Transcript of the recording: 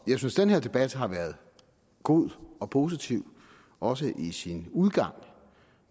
jeg synes den her debat har været god og positiv også i sin udgang